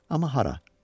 Amma hara?